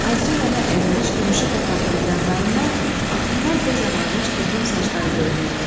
Azca yana əyilmiş gümüşü papağının yanlarından vaxtından tez ağarmış qıvrım saçları görünürdü.